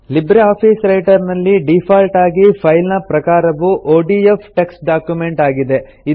Libre office Writer ನಲ್ಲಿ default ಆಗಿ file ನ ಪ್ರಕಾರವು ಒಡಿಎಫ್ ಟೆಕ್ಸ್ಟ್ ಡಾಕ್ಯುಮೆಂಟ್ ಆಗಿದೆ